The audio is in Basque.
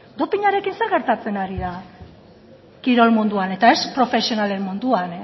dopinarekin zer gertatzen da kirol munduan eta ez profesionalen munduan